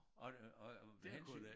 Og og med hensyn